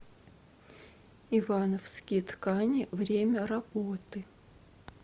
ивановские ткани время работы